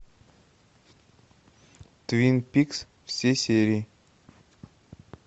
твин пикс все серии